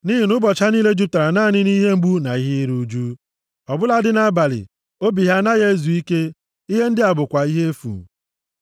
Nʼihi nʼụbọchị ha niile jupụtara naanị nʼihe mgbu na iru ụjụ, ọ bụladị nʼabalị, obi ha anaghị ezu ike. Ihe ndị a bụkwa ihe efu. + 2:23 \+xt Job 5:7; Job 14:1\+xt*